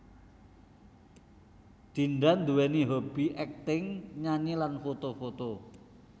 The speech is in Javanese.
Dinda nduwèni hobby acting nyanyi lan foto foto